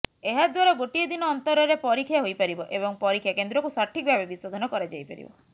ଏହାଦ୍ବାରା ଗୋଟିଏ ଦିନ ଅନ୍ତରରେ ପରୀକ୍ଷା ହୋଇପାରିବ ଏବଂ ପରୀକ୍ଷା କେନ୍ଦ୍ର କୁ ସଠିକ ଭାବେ ବିଶୋଧନ କରାଯାଇପାରିବ